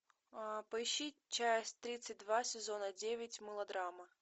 поищи часть тридцать два сезона девять мылодрама